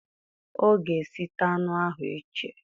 O ga esita anụ ahụ iche